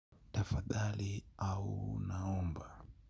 Tafadhali au naomba.